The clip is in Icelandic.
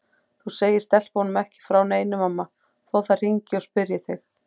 Þú segir stelpunum ekki frá neinu mamma þó þær hringi og spyrji þig.